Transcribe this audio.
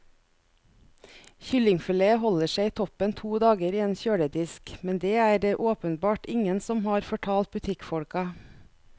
Kyllingfilet holder seg toppen to dager i en kjøledisk, men det er det åpenbart ingen som har fortalt butikkfolka.